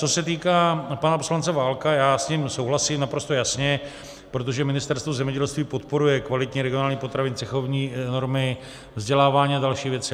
Co se týká pana poslance Válka, já s ním souhlasím, naprosto jasně, protože Ministerstvo zemědělství podporuje kvalitní regionální potraviny, cechovní normy, vzdělávání a další věci.